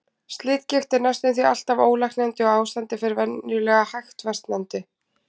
Slitgigt er næstum því alltaf ólæknandi og ástandið fer venjulega hægt versnandi.